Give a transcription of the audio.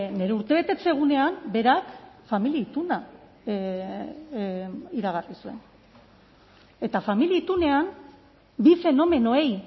nire urtebetetze egunean berak familia ituna iragarri zuen eta familia itunean bi fenomenoei